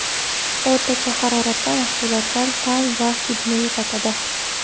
O‘rtacha haroratda mahsulotlar ta’m va hidini yo‘qotadi.